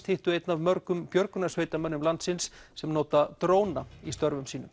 hittu einn af mörgum björgunarsveitarmönnum landsins sem nota dróna í störfum sínum